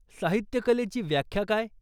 साहित्यकलेची व्याख्या काय?